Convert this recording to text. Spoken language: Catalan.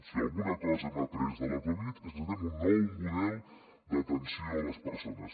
si alguna cosa hem après de la covid és que necessitem un nou model d’atenció a les persones